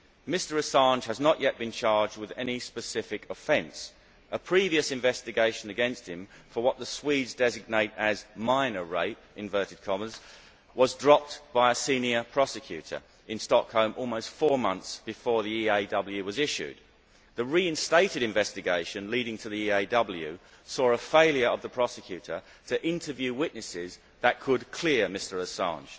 Mr Assange has not yet been charged with any specific offence. A previous investigation against him, for what the Swedes designate as minor rape', was dropped by a senior prosecutor in Stockholm almost four months before the EAW was issued. The reinstated investigation leading to the EAW saw a failure of the prosecutor to interview witnesses that could clear Mr Assange.